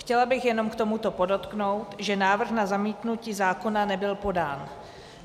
Chtěla bych jenom k tomuto podotknout, že návrh na zamítnutí zákona nebyl podán.